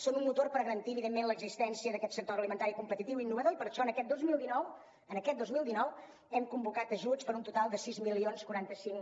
són un motor per garantir evidentment l’existència d’aquest sector agroalimentari competitiu i innovador i per això en aquest dos mil dinou en aquest dos mil dinou hem convocat ajuts per un total de sis mil quaranta cinc